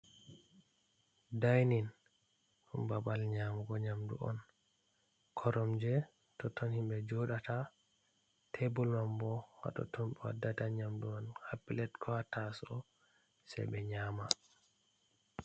Dai nin, ɗum babal nyamugo nyamdu on, koromje totton himɓe joɗata, tebur man bo hatonton bewaddata nyamdu ko hapilet ko tasow se ɓe nyama.